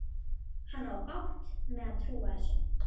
Hann á bágt með að trúa þessu.